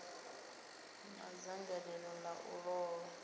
na dzangalelo ḽa u ṱoḓa